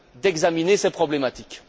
d'examiner ces problématiques.